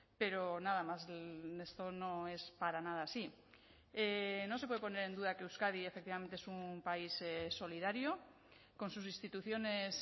pero nada más esto no es para nada así no se puede poner en duda que euskadi efectivamente es un país solidario con sus instituciones